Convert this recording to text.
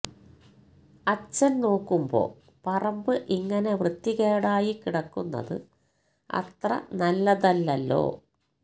അച്ഛന് നോക്കുമ്പോ പറമ്പ് ഇങ്ങനെ വൃത്തികേടായി കിടക്കുന്നത് അത്ര നല്ലതല്ലല്ലോ